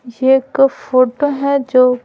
ये एक फोटो है जो--